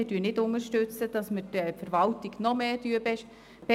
Wir unterstützen es nicht, dass wir die Verwaltung noch mehr beanspruchen.